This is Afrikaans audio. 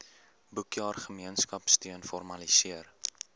boekjaar gemeenskapsteun formaliseer